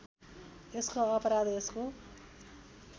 यसको अपराध यसको